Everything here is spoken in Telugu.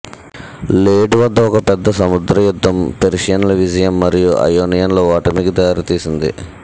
లేడ్ వద్ద ఒక పెద్ద సముద్ర యుద్ధం పెర్షియన్ల విజయం మరియు అయోనియన్ల ఓటమికి దారితీసింది